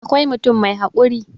awkai mutum mai haƙuri